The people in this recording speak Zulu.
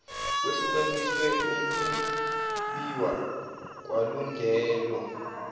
kwehlukaniswe ukwbiwa kwalungelo